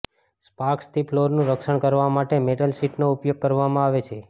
સ્પાર્ક્સથી ફ્લોરનું રક્ષણ કરવા માટે મેટલ શીટનો ઉપયોગ કરવામાં આવે છે